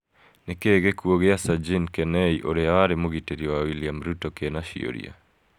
Nĩ kĩĩ gĩkuũ kĩa Sajini Kenei, ũrĩa warĩ mũgitĩri wa William Ruto, kĩna ciũria?